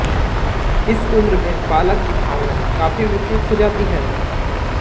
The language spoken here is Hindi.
इस उम्र में बालक की भावनाएँ काफी विकसित हो जाती हैं